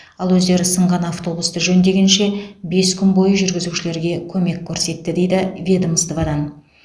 ал өздері сынған автобусті жөндегенше бес күн бойы жүргізушілерге көмек көрсетті дейді ведомстводан